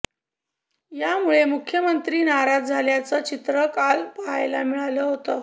यामुळे मुख्यमंत्री नाराज झाल्याचं चित्र काल पाहायला मिळालं होतं